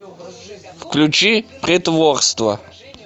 включи притворство